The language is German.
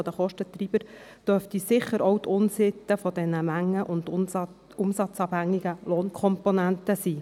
Einer der Kostentreiber dürfte sicher auch die Unsitte dieser mengen- und umsatzabhängigen Lohnkomponenten sein.